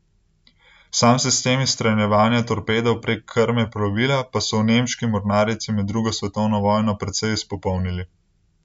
Sam sistem izstreljevanja torpedov prek krme plovila pa so v nemški mornarici med drugo svetovno vojno precej izpopolnili.